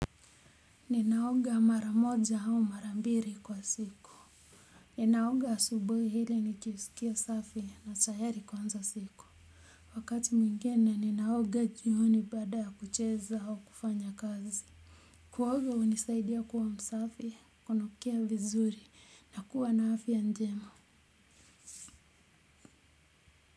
Ninaoga mara moja au mara mbiri kwa siku. Ninaoga asubuhi ili nikisikia safi natayari kuanza siku. Wakati mwingine ninaoga jioni baada ya kucheza au kufanya kazi kuoga hunisaidia kuwa msafi, kunukia vizuri na kuwa na afya njema.